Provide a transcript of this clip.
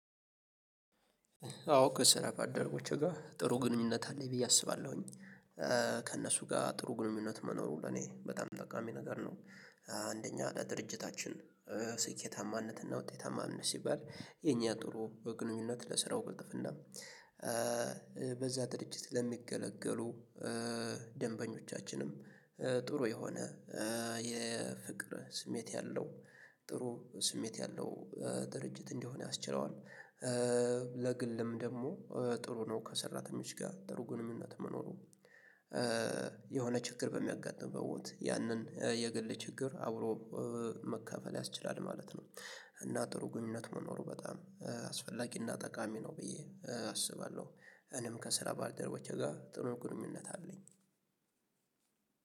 አዎ ከስራ ባልደረቦቼ ጋር ጥሩ ግንኙነት አለኝ ብዬ አስባለሁኝ ከእነሱ ጋር ጥሩ ግንኙነት መኖሩ ለኔ በጣም ጠቃሚ ነገር ነው። አንደኛ ድርጅታችን ስኬታማነት እና ውጤታማነት ሲባል የኛ ጥሩ በግንኙነት ለስራው ቅልጥፍና። በዛ ድርጅት ለሚገለገሉ ደንበኞቻችንም ጥሩ የሆነ የፍቅር ስሜት ያለው ጥሩ ስሜት ያለው ድርጅት እንዲሆን ያስችለዋል። ለግልም ደግሞ ጥሩ ነው። ከሰራተኞች ጋር ጥሩ ግንኙነት መኖሩ የሆነ ችግር በሚያጋጥም በቦታ ያንን የግል ችግር አብሮ መካፈል ያስችላል ማለት ነው። እና ጥሩ ግንኙነት መኖሩ በጣም አስፈላጊና ጠቃሚ ነው ብዬ አስባለሁ። እኔም ከስራ ባልደረቦቼ ጋር ጥሩ ግንኙነት አለኝ።